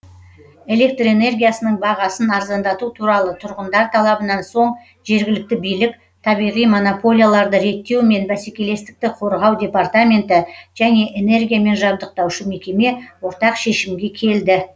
электр энергиясының бағасын арзандату туралы тұрғындар талабынан соң жергілікті билік табиғи монополияларды реттеу мен бәсекелестікті қорғау департаменті және энергиямен жабдықтаушы мекеме ортақ шешімге келді